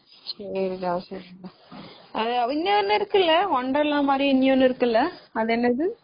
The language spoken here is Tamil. சரிடா, சரிடா.இன்னொன்னு இருக்குல wonderla மாதிரி இன்னொன்னு இருக்குல அது என்னது?